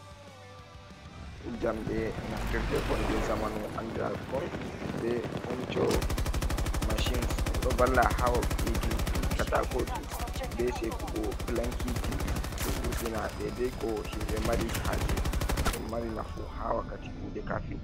Jamɗe naftirde kon je zamanu andira kon be funiture mashines, ɗum ɗo valla ha wo'itinki katakoji be sekugo plankeji ɗo vurtina daidai ko himɓe mari haje, ɗon mari nafu ha wakkati kuɗe kafin.